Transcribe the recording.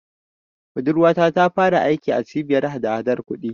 Budurwata ta fara aiki a Cibiyar hadahadar kuɗi.